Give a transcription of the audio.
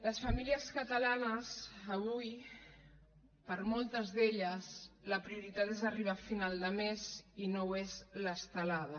les famílies catalanes avui per a moltes d’elles la prioritat és arribar a final de mes i no ho és l’estelada